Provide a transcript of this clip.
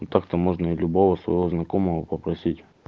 ну так-то можно и любого своего знакомого попросить